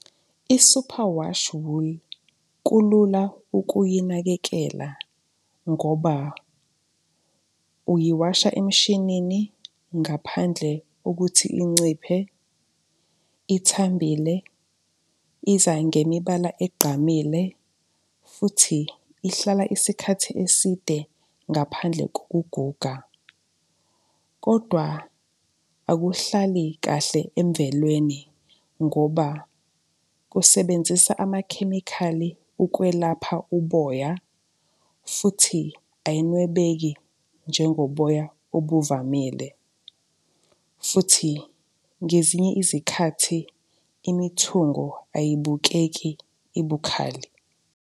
I-Superwash wool kulula ukuyinakekela ngoba uyiwasha emshinini ngaphandle kokuthi inciphe, ithambile, iza ngemibala egqamile futhi ihlala isikhathi eside ngaphandle kokuguga. Kodwa akuhlali kahle emvelweni ngoba kusebenzisa amakhemikhali ukwelapha uboya futhi ayinwebeki njengoboya obuvamile, futhi ngezinye izikhathi imithungo ayibukeki ibukhali.